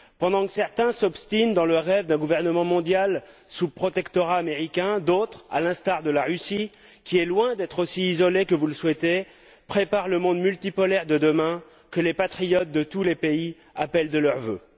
Pendant que certains s'obstinent dans le rêve d'un gouvernement mondial sous protectorat américain, d'autres, à l'instar de la Russie qui est loin d'être aussi isolée que vous le souhaitez, préparent le monde multipolaire de demain que les patriotes de tous les pays appellent de leurs vœux.